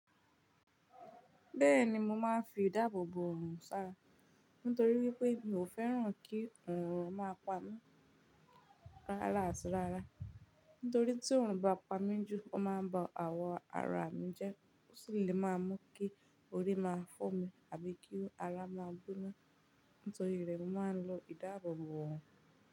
Bẹ́ẹ̀ni mo máa ń fi ìdáàbò oorun sára, nítorí wípé mi ò fẹ́ràn kí oorun máa pa mí rára áti rára. Nítorí tí oorun bá pa mí jù ó máa ń ba àwọ̀ ara mi jẹ́, ó sì le máa mú kí orí máa fọ́ mi àbí kí ara máa gbóná. Nítorí rẹ̀ mó máa ń lo ìdáàbò bò oorun.